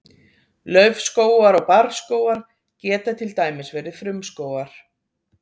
laufskógar og barrskógar geta til dæmis verið frumskógar